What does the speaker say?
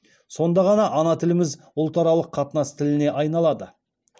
сонда ғана ана тіліміз ұлтаралық қатынас тіліне айналады